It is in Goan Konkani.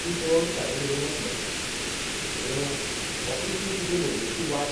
ती पळोवन साईन रॅमोक म्हणलें रॅमो, हो कृष्ण तुजे मुरलेची वाट